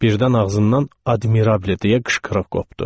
Birdən ağzından "admirabli" deyə qışqırıq qopdu.